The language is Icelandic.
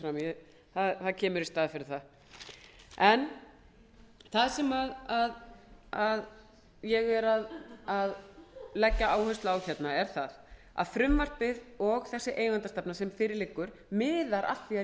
s b í staðinn kallar háttvirtur þingmaður margrét tryggvadóttir fram í það kemur í staðinn fyrir það það sem ég legg áherslu á er að frumvarpið og þessi eigendastefna sem fyrir liggur miðar að því að